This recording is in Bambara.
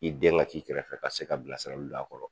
I den ŋa k'i kɛrɛfɛ ka se ka bilasiraluw do a kɔrɔ